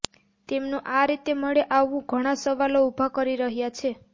તેમનું આ રીતે મળી આવવું ઘણા સવાલો ઊભા કરી રહ્યા છે